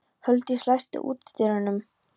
Huldís, læstu útidyrunum.